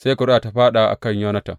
Sai ƙuri’ar ta fāɗa a kan Yonatan.